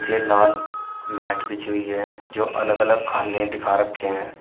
ये लाल मैट बिछी हुई है जो अलग अलग खाने दिखा रखे हैं।